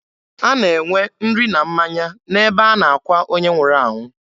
A na-enwe nri na mmanya n'ebe a na-akwa onye nwụrụ anwụ.